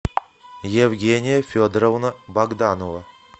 евгения федоровна богданова